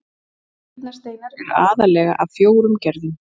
nýrnasteinar eru aðallega af fjórum gerðum